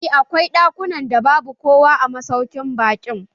Eh, akwai ɗakunan da babu kowa a masaukin baƙin.